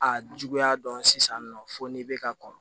A juguya dɔn sisan nɔ fo n'i bɛ ka kɔn